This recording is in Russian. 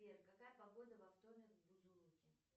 сбер какая погода во вторник в бузулуке